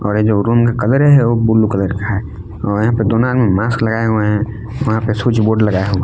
और ये जो रूम का कलर ब्ल्यू कलर है और यहां पर दोनों आदमी मास्क लगाए हुए है वहां पे स्विच बोर्ड लगाया हुआ--